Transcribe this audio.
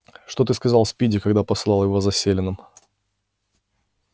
что ты сказал спиди когда посылал его за селеном